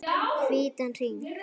Hvítan hring.